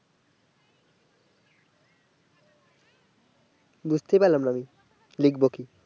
বুঝতেই পারলাম না আমি লিখবো কি